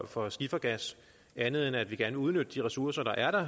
for skifergas andet end at vi gerne vil udnytte de ressourcer der er der